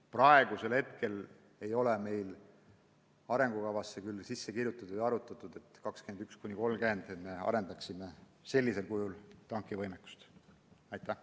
Praegu ei ole meil arengukavasse seda sisse kirjutatud ega ole ka arutatud, et me aastail 2021–2030 võiksime sellisel kujul tankivõimekust arendada.